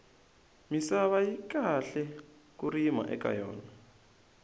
misava yi kahle ku rima eka yona